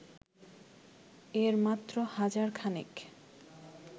এর মাত্র হাজারখানেক